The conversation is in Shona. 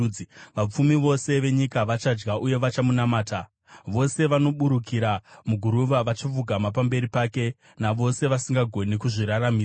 Vapfumi vose venyika vachadya uye vachamunamata; vose vanoburukira muguruva vachapfugama pamberi pake, navose vasingagoni kuzviraramisa.